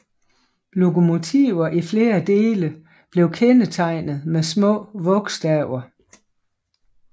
Lokomotiver i flere dele blev kendetegnet med små vogstaver